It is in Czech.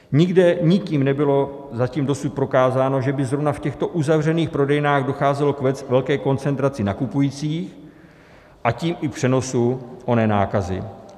Nikde nikým nebylo zatím dosud prokázáno, že by zrovna v těchto uzavřených prodejnách docházelo k velké koncentraci nakupujících, a tím i přenosu oné nákazy.